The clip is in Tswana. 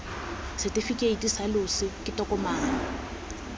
setefikeiti sa loso ke tokomane